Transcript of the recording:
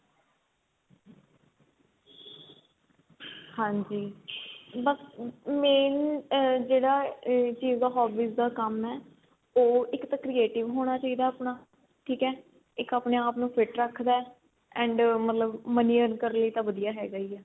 ਹਾਂਜੀ ਬੱਸ main ਆ ਜਿਹੜਾ ਆ ਚੀਜ ਦਾ hobbies ਦਾ ਕੰਮ ਏ ਉਹ ਇੱਕ ਤਾਂ creative ਹੋਣਾ ਚਾਹੀਦਾ ਆਪਣਾ ਠੀਕ ਏ ਇੱਕ ਆਪਣੇ ਆਪ ਨੂੰ fit ਰੱਖਦਾ and ਆ ਮਤਲਬ money earn ਕਰਨ ਲਈ ਤਾਂ ਵਧੀਆ ਹੈਗਾ ਈ ਏ